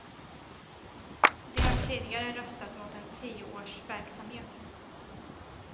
De har tidigare röstat mot en tioårsverksamhet.